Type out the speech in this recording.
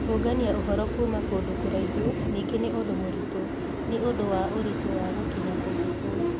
Kũũngania ũhoro kuuma kũndũ kũraihu ningĩ nĩ ũndũ mũritũ, nĩ ũndũ wa ũritũ wa gũkinya kũndũ kũu.